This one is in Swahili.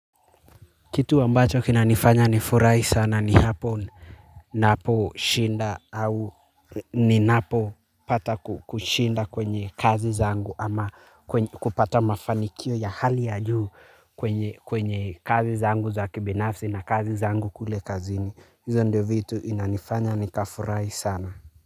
Kitu ambacho kinanifanya nifurahi sana ni hapo naposhinda au ninapopata kushinda kwenye kazi zangu ama kupata mafanikio ya hali ya juu kwenye kazi zangu za kibinafsi na kazi zangu kule kazini, hizo ndo vitu inanifanya nikafurahi sana.